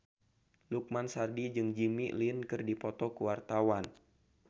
Lukman Sardi jeung Jimmy Lin keur dipoto ku wartawan